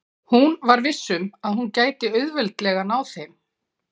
Hún var viss um að hún gæti auðveldlega náð þeim.